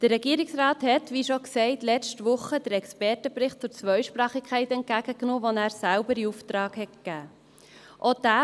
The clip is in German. Der Regierungsrat hat – wie bereits erwähnt – letzte Woche den Expertenbericht zur Zweisprachigkeit entgegengenommen, den er selber in Auftrag gegeben hat.